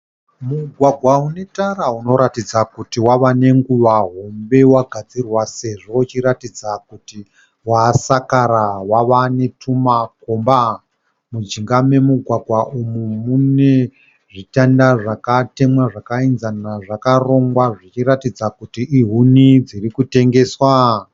Mugwagwa une tara. Unoratidza kuti wava nenguva hombe wagadzirwa sezvo uchiratidza kuti wasakara wavenetuma komba. Mujinga memugwagwa umu mune zvitanda zvakatemwa zvakaenzana zvakarongwa zvichiratidza kuti ihuni dziri kutengeswa.